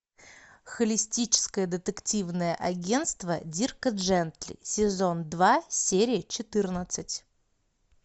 холистическое детективное агентство дирка джентли сезон два серия четырнадцать